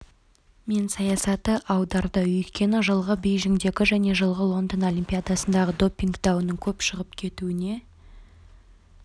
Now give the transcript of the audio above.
мен саясаты аударды өйткені жылғы бейжіңдегі және жылғы лондон олимпиадасындағы допинг дауының көп шығып кетуіне